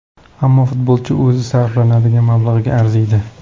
Ammo futbolchi o‘zi sarflanadigan mablag‘ga arziydi.